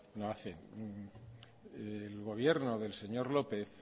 no hacen el gobierno del señor lópez